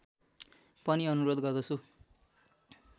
पनि अनुरोध गर्दछु